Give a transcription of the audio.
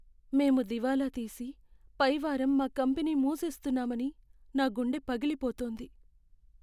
మేము దివాలా తీసి, పై వారం మా కంపెనీ మూసేస్తున్నామని నా గుండె పగిలిపోతోంది.